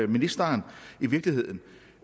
ministeren i virkeligheden